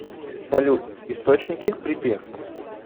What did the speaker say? салют источники припев